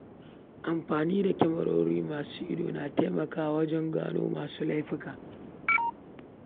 Amfani da kyamarori masu sa ido na taimakawa wajen gano masu aikata laifuka.